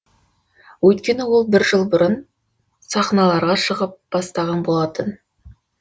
өйткені ол бір жыл бұрын сахналарға шығып бастаған болатын